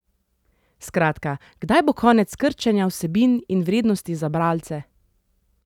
Skratka, kdaj bo konec krčenja vsebin in vrednosti za bralce?